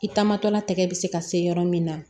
I taamatɔla tɛgɛ bɛ se ka se yɔrɔ min na